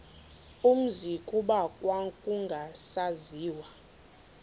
umzi kuba kwakungasaziwa